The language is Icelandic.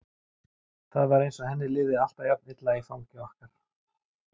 Það var eins og henni liði alltaf jafn illa í fangi okkar.